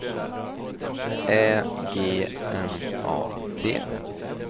Ä G N A T